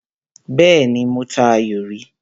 Bẹ́ẹ́nì, mo ta ayò rí.